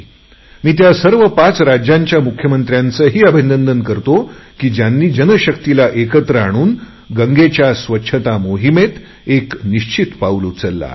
मी त्या सर्व पाच राज्याच्या मुख्यमंत्र्यांचेही अभिनंदन करतो कि त्यांनी जनशक्तिला एकत्र आणून गंगेच्या स्वच्छता मोहिमेत एक निश्चित पाऊल उचलले आहे